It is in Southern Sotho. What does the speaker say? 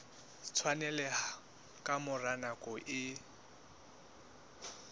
tshwaneleha ka mora nako e